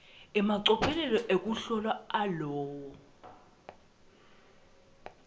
emacophelo ekuhlola alowo